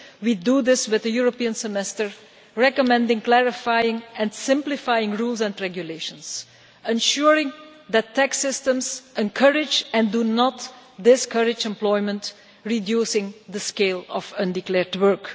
We do this via the European semester, recommending, clarifying and simplifying rules and regulations, ensuring that tax systems encourage, and not discourage, employment reducing the scale of undeclared work.